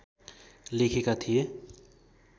लेखेका थिए